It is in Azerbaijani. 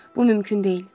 Bu mümkün deyil.